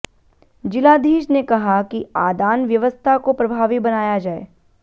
जिलाधीश ने कहा कि आदान व्यवस्था को प्रभावी बनाया जाए